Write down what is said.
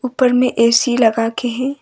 ऊपर में ए_सी लगा के है।